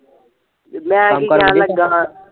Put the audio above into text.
ਮੈਂ ਕੀ ਕਹਿਣ ਲਗਾ ਸਾ